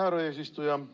Härra eesistuja!